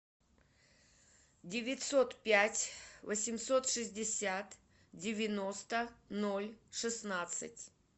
девятьсот пять восемьсот шестьдесят девяносто ноль шестнадцать